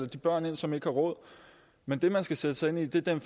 de børn med som ikke har råd men det man skal sætte sig ind i er den